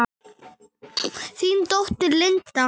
Þín dóttir, Linda.